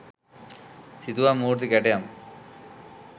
සිතුවම් මූර්ති කැටයම්